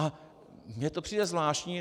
A mně to přijde zvláštní.